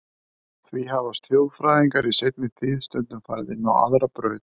Því hafa þjóðfræðingar í seinni tíð stundum farið inn á aðra braut.